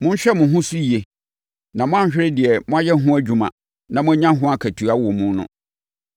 Monhwɛ mo ho so yie na moanhwere deɛ moayɛ ho adwuma na moanya mo akatua wɔ mu no.